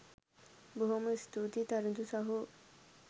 බොහොම ස්තූතියි තරිඳු සහෝ